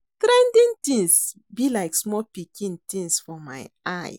Trending things dey be like small pikin things for my eyes